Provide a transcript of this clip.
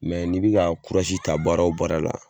ni bɛ ka ta baara o baara la.